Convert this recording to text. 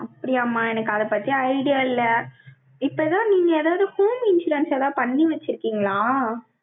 அப்படியாம்மா, எனக்கு அதைப் பத்தி idea இல்லை இப்பதான், நீங்க எதாவது, home insurance எல்லாம், பண்ணி வச்சிருக்கீங்களா?